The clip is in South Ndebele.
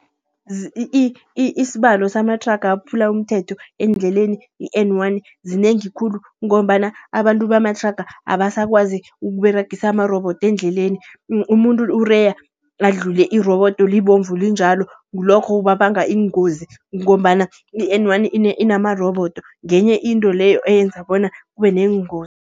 Isibalo samathraga aphula umthetho endleleni i-N one zinengi khulu. Ngombana abantu bamathraga, abasakwazi ukUberegisa amarobodo endleleni. Umuntu ureya adlule irobodo libomvu linjalo, ngilokho okubanga iingozi. Kungombana i-N one inamarobodo ngenye into leyo eyenza bona kube neengozi.